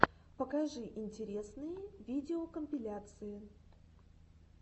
покажи интересные видеокомпиляции